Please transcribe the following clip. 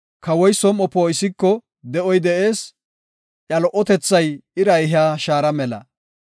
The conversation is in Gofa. Kawa som7oy poo7iko de7oy de7ees; Iya lo77otethay ira ehiya shaara mela.